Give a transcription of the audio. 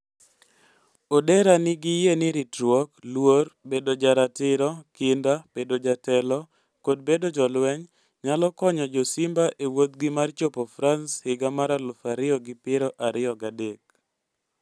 Odera nigi yie ni ritruok, luor, bedo joratiro, kinda, bedo jatelo, kod bedo jolweny nyalo konyo jo-Simba e wuodhgi mar chopo France higa mar aluf ariyo gi piero ariyo gi adek.